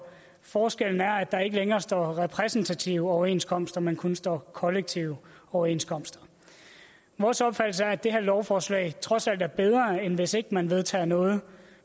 forskellen er at der ikke længere står repræsentative overenskomster men kun står kollektive overenskomster vores opfattelse er at det her lovforslag trods alt er bedre end hvis ikke man vedtager noget